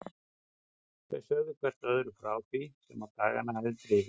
Þau sögðu hvert öðru frá því sem á dagana hafði drifið.